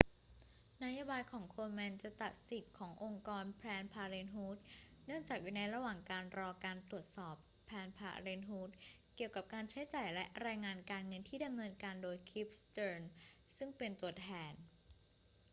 นโยบายของ komen จะตัดสิทธิ์ขององค์กร planned parenthood เนื่องจากอยู่ในระหว่างรอการตรวจสอบ planned parenthood เกี่ยวกับการใช้จ่ายและรายงานการเงินที่ดำเนินการโดย cliff stearns ซึ่งเป็นตัวแทน